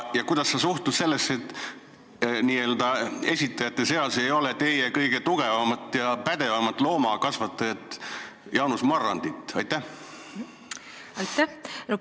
Ja kuidas sa suhtud sellesse, et eelnõu esitajate seas ei ole teie kõige tugevamat ja pädevamat loomakasvatajat Jaanus Marrandit?